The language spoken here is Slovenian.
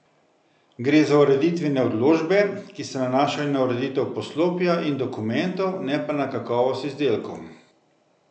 Gre za ureditvene odločbe, ki se nanašajo na ureditev poslopja in dokumentov, ne pa na kakovost izdelkov.